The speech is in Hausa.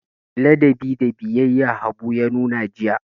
Ladabi da biyayya Habu ya nuna jiya.